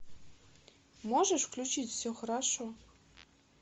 можешь включить все хорошо